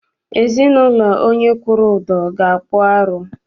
Ezinaụlọ onye kwụrụ ụdọ ga- akpụ arụ.